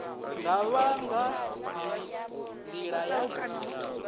nga vha nga nḓila ya